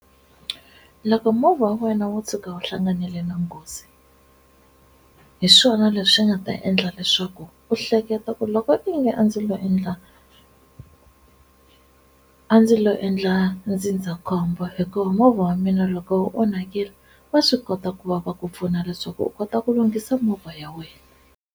Loko movha wa wena wo tshuka u hlanganile na nghozi hi swona leswi nga ta endla leswaku u hleketa ku loko i nge a ndzi lo endla a ndzi lo endla ndzindzakhombo hikuva movha wa mina loko wu onhakile va swi kota ku va va ku pfuna leswaku u kota ku lunghisa movha ya wena.